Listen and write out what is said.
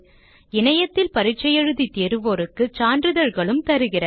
இணையத்தில் பரிட்சை எழுதி தேர்வோருக்கு சான்றிதழ்களும் தருகிறது